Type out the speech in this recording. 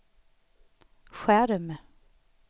skärm